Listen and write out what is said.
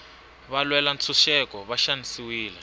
valwela ntshuxeko va xanisiwile